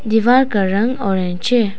दीवार का रंग ऑरेंज है।